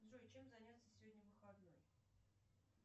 джой чем заняться сегодня в выходной